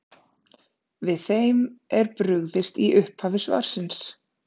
Við þeim er brugðist í upphafi svarsins.